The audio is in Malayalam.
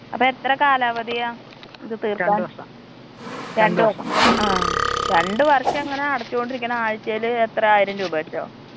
അപ്പൊ എത്ര കാലാവധിയാ ഇത് തീർക്കാൻ. രണ്ട് വർഷം. ആ രണ്ട് വർഷം ഇങ്ങനെ അടച്ചോണ്ടിരിക്കണം ആയ്ച്ചേല് എത്രെ ആയിരം രൂപ വെച്ചോ.